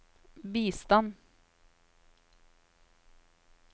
bistand